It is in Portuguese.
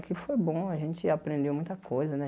Aqui foi bom, a gente aprendeu muita coisa, né?